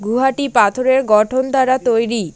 গুহাটি পাথরের গঠন দ্বারা তৈরী।